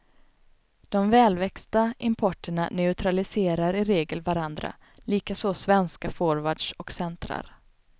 De välväxta importerna neutraliserar i regel varandra, likaså svenska forwards och centrar.